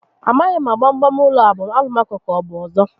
Amaghi m ma gbam gbam ụlọ a abụ Alụmaco ka ọbụ ọzọ